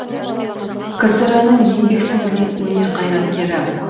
кср інің еңбек сіңірген өнер қайраткері